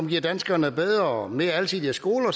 giver danskerne bedre og mere alsidige skoler